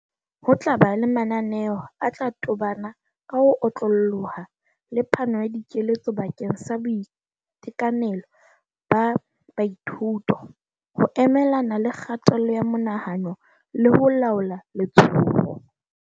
Ho tla ba le mananeo a tla tobana ka ho otlolloha le phano ya dikeletso bakeng sa boitekanelo ba baithuto, ho emelana le kgatello ya monahano le ho laola letshoho.